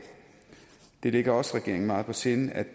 det ligger også regeringen meget på sinde